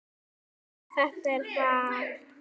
En þetta er val.